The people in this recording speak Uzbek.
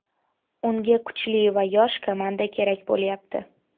Unga kuchli va yosh komanda kerak bo‘lyapti.